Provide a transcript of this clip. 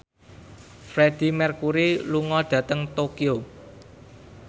Freedie Mercury lunga dhateng Tokyo